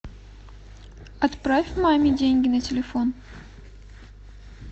отправь маме деньги на телефон